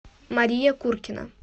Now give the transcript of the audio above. мария куркина